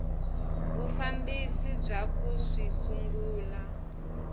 vufambisi bya ku swi sungula